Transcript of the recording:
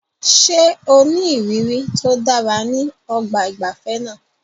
Ṣé o ní ìrírí tó dára ní ọgbà ìgbafẹ́ náà?